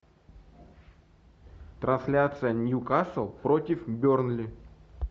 трансляция ньюкасл против бернли